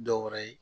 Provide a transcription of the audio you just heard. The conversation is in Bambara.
Dɔw wɛrɛ ye